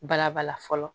Balabala fɔlɔ